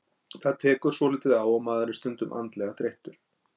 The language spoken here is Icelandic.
Þetta tekur svolítið á og maður er stundum andlega þreyttur.